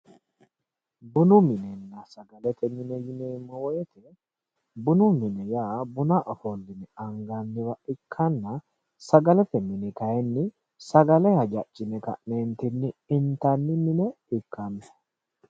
Bunu minenna sagalete mine ,bunu mine yaa buna ofolline anganniwa ikkanna sagalete mini kayinni sagale intanni mine ikkanno.